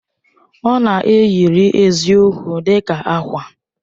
Ọ na-eyiri eziokwu dị ka ákwà.